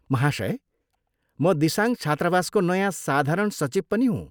महाशय, म दिसाङ छात्रावासको नयाँ साधारण सचिव पनि हुँ।